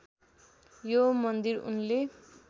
यो मन्दिर उनले